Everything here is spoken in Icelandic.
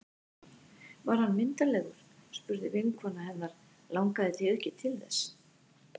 Var hann myndarlegur? spurði vinkona hennar Langaði þig ekki til þess?